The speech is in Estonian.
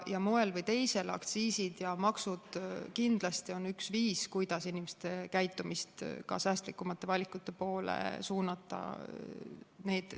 Moel või teisel on aktsiisid ja maksud kindlasti üks viis, kuidas inimeste käitumist säästlikumate valikute poole suunata.